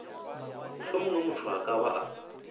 mohlomongwe motho a ka ba